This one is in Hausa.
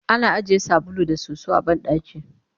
ana ajiye sabulu da soso a banɗaki